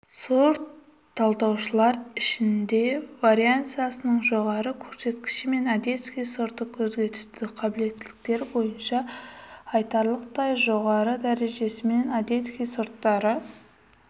сорт-талдауыштар ішінде вариансасының жоғары көрсеткішімен одесский сорты көзге түсті қабілеттіліктері бойынша айтарлықтай жоғары дәрежесімен одесский сорттары